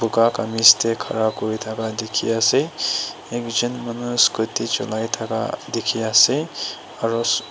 kamis dae khara kuri thaka dekhe ase ekjun manu scooty chulai thaka dekhe ase aro--